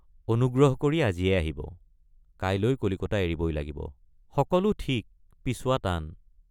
অনুগ্ৰহ কৰি আজিয়েই আহিব কাইলৈ কলিকতা এৰিবই লাগিব—সকলে৷ ঠিক পিছুৱা টান।